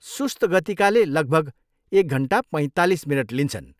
सुस्त गतिकाले लगभग एक घन्टा पैँतालिस मिनट लिन्छन्।